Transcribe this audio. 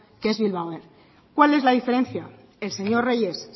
qué es bilbao air cuál es la diferencia el señor reyes